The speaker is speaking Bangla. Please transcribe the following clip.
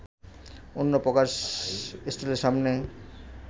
অন্যপ্রকাশ স্টলের সামনে